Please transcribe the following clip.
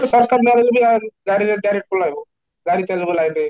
ସରକାର ନାହେଲେବି ଆଉ ଗାଡ଼ିରେ direct ପଳେଇବ ଗାଡି ଚାଲିବ line ରେ